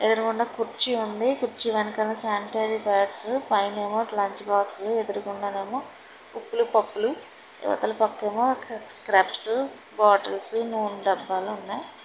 ఎదురుగుండా కుర్చీ ఉంది కుర్చీ వెనకాలన శానిటైజర్ ప్యాడ్స్ పైనేమో లంచ్ బాక్స్ ఎదురుగుండానేమో ఉప్పులు పప్పులు ఇవతలపక్కేమో స్క్రబ్సు బాటిల్స్ నూన్ డబ్బాలున్నాయ్.